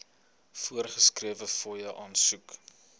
voorgeskrewe fooie aansoek